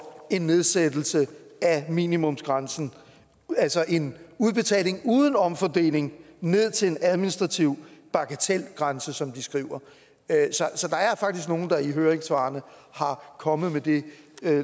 en nedsættelse af minimumsgrænsen altså en udbetaling uden omfordeling ned til en administrativ bagatelgrænse som de skriver så der er faktisk nogle der i høringssvarene er kommet med det